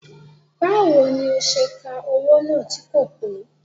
Báwo ni ó ṣe ka owó náà tí kò pé